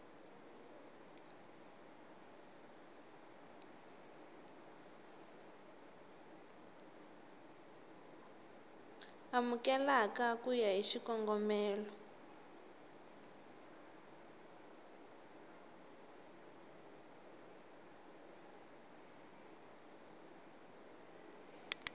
amukeleka ku ya hi xikongomelo